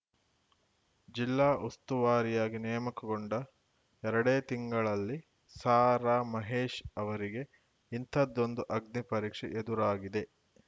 ಜಿಲ್ಲಾ ಉಸ್ತುವಾರಿಯಾಗಿ ನೇಮಕಗೊಂಡ ಎರಡೇ ತಿಂಗಳಲ್ಲಿ ಸಾರಾ ಮಹೇಶ್‌ ಅವರಿಗೆ ಇಂಥದ್ದೊಂದು ಅಗ್ನಿ ಪರೀಕ್ಷೆ ಎದುರಾಗಿದೆ